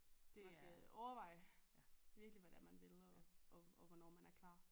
Man skal overveje virkelig hvad det er man vil og hvornår man er klar